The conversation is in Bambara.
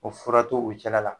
O fura to u cɛla la.